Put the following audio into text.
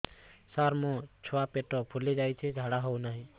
ସାର ମୋ ଛୁଆ ପେଟ ଫୁଲି ଯାଉଛି ଝାଡ଼ା ହେଉନାହିଁ